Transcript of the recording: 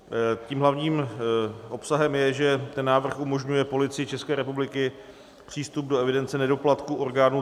Tím hlavním obsahem je, že ten návrh umožňuje Policii České republiky přístup do evidence nedoplatků orgánů